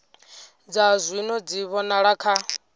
dza zwino dzi vhonala kha